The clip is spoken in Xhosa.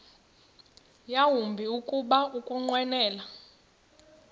yawumbi kuba ukunqwenela